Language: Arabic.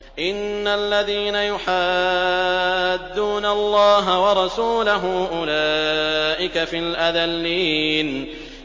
إِنَّ الَّذِينَ يُحَادُّونَ اللَّهَ وَرَسُولَهُ أُولَٰئِكَ فِي الْأَذَلِّينَ